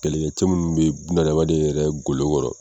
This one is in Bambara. Kɛlɛkɛ minnu bɛ bunadamaden yɛrɛ golo kɔrɔ.